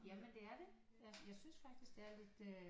Jamen det er det jeg synes faktisk det er lidt øh